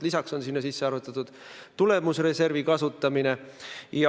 Lisaks on sinna sisse arvutatud tulemusreservi kasutamine.